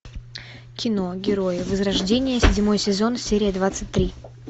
кино герои возрождение седьмой сезон серия двадцать три